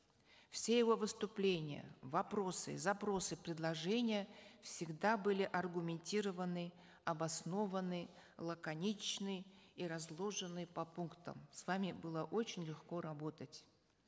все его выступления вопросы запросы предложения всегда были аргументированы обоснованы лаконичны и разложены по пунктам с вами было очень легко работать